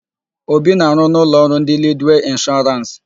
Obi na-arụ na ụlọọrụ ndị Lidwee Ịnshọrans.